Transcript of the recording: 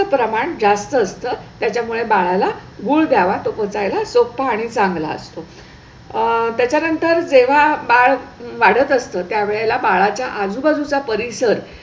चे प्रमाण जास्त असतं. त्यामुळे बाळाला गुल द्यावा तो पचायला सोपा आणि चांगला असतो आह त्याच्या नंतर जेव्हा बाळ वाढत असतो त्या वेळेला बाळाच्या आजूबाजूचा परिसर